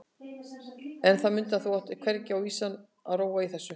En mundu það að þú átt hvergi á vísan að róa í þessu.